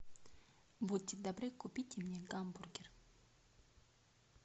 будьте добры купите мне гамбургер